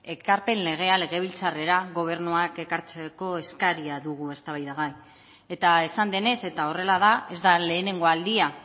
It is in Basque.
ekarpen legea legebiltzarrera gobernuak ekartzeko eskaria dugu eztabaidagai eta esan denez eta horrela da ez da lehenengo aldia